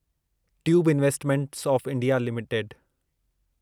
tube investment of India limited